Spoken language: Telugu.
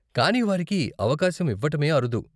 కానీ వారికి అవకాశం ఇవ్వటమే అరుదు.